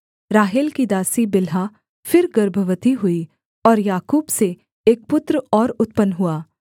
राहेल की दासी बिल्हा फिर गर्भवती हुई और याकूब से एक पुत्र और उत्पन्न हुआ